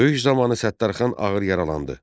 Döyüş zamanı Səttarxan ağır yaralandı.